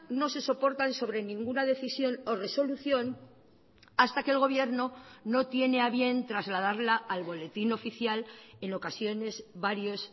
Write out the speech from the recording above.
no se soportan sobre ninguna decisión o resolución hasta que el gobierno no tiene a bien trasladarla al boletín oficial en ocasiones varios